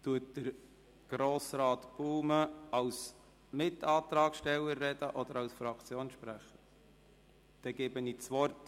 Wird Grossrat Baumann als Mitantragssteller oder als Fraktionssprecher Stellung nehmen?